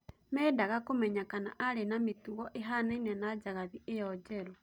Mendaga kũmenya kana arĩ na mĩtugo ĩhanaine na njagathi ĩyo njerũ